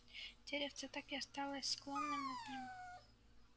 деревце так и осталось склонённым над ним